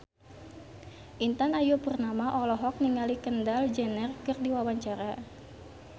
Intan Ayu Purnama olohok ningali Kendall Jenner keur diwawancara